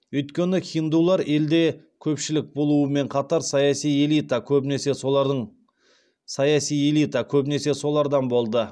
өйткені хиндулар елде көпшілік болуымен қатар саяси элита көбінесе солардан болды